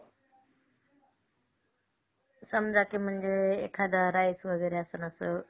समजा की म्हणजे एखादं rice वगैरे असून असं